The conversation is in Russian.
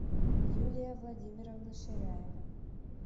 юлия владимировна ширяева